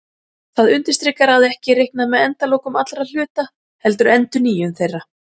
það undirstrikar að ekki er reiknað með endalokum allra hluta heldur endurnýjun þeirra